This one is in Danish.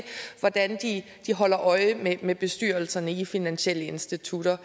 hvordan de holder øje med bestyrelserne i finansielle institutter